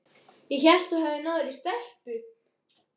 Ég hélt að þú hefðir náð þér í stelpu.